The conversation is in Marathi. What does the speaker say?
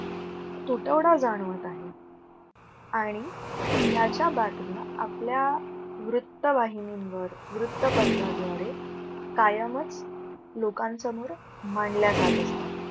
तुटवडा जाणवत आहे आणि आणि ह्याच्या बातम्या आपल्या वृत्तवाहिनींवर, वृत्तपत्राद्वारे कायमच लोकांसमोर मांडल्या जात असतात.